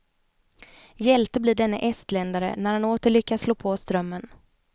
Hjälte blir denne estländare när han åter lyckas slå på strömmen.